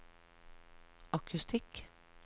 akustikk